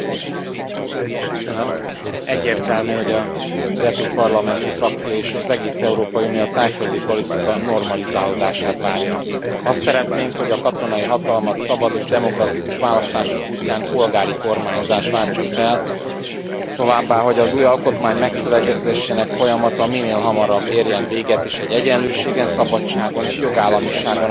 Egyértelmű, hogy az EP parlamenti frakciója és az egész Európai Unió a thaiföldi politika normalizálódását várja azt szeretnénk, hogy a katonai hatalmat szabad és demokratikus választások útján polgári kormányzás váltsa fel, továbbá, hogy az új alkotmány megszövegezésének folyamata minél hamarabb érjen véget és egy egyenlőségen, szabadságon és jogállamiságon alapuló alaptörvényt fogadjanak el.